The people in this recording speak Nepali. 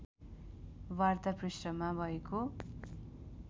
वार्ता पृष्ठमा भएको